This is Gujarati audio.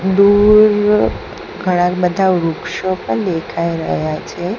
દૂર ઘણા બધા વૃક્ષો પણ દેખાય રહ્યા છે.